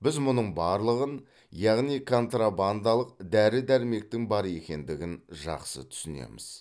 біз мұның барлығын яғни контрабандалық дәрі дәрмектің бар екендігін жақсы түсінеміз